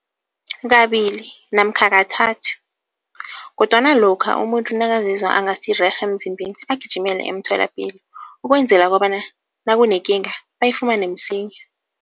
Kabili namkha kathathu kodwana lokha umuntu nakazizwa angasirerhe emzimbeni agijimele emtholapilo ukwenzela kobana nakunekinga, bayifumane msinya.